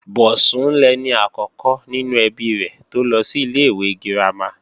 Bọ̀sún lẹni àkọ́kọ́ nínú ẹbí rẹ̀ tó lọ sí ilé-ìwé girama